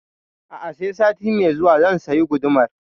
A'a sai sati mai zuwa zan sayi gudumar